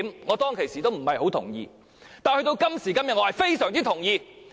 我當時也不太同意，但到了今時今日，我非常同意。